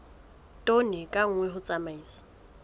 tone ka nngwe ho tsamaisa